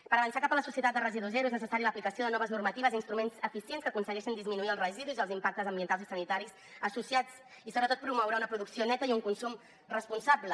per avançar cap a la societat de residu zero és necessària l’aplicació de noves normatives i instruments eficients que aconsegueixin disminuir els residus i els impactes ambientals i sanitaris associats i sobretot promoure una producció neta i un consum responsable